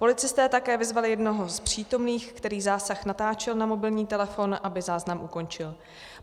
Policisté také vyzvali jednoho z přítomných, který zásah natáčel na mobilní telefon, aby záznam ukončil.